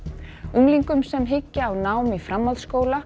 unglingum sem hyggja á nám í framhaldsskóla